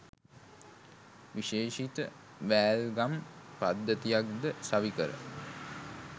විශේෂිත වෑල්ගම් පද්ධතියක්ද සවිකර